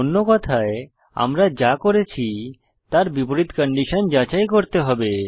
অন্য কথায়আমরা যা করেছি তার বিপরীত কন্ডিশন যাচাই করতে হবে